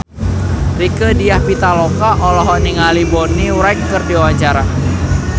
Rieke Diah Pitaloka olohok ningali Bonnie Wright keur diwawancara